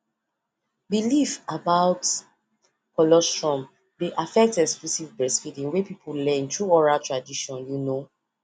believe about dey affect exclusive best through other transitions you know